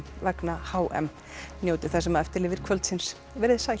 vegna h m njótið þess sem eftir lifir kvöldsins veriði sæl